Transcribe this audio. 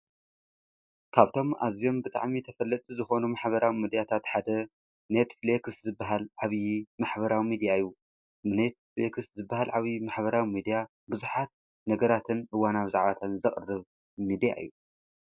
ካብቶም ኣዝኦም ብጥዕሚ ተፈለቲ ዝኾኑ ማኅበራዊ ምድያታ ትሓደ ነት ፍሌክስ ዝበሃል ዓብዪ ማሕበራዊ ሚድኣ እዩ ኔት ፍልክስ ዝበሃል ዓብዪ ማኅበራዊ ሚድያ ብዙኃት ነገራትን እዋናው ዛዓተን ዘቕርብ ሚድያ እዩ::